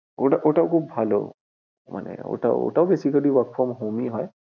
ওটাও খুব ভালো, মানে ওটাও basically work from home এ হয়